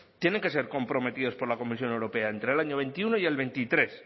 tienen que ser comprometidos por la comisión europea entre el año veintiuno y el veintitrés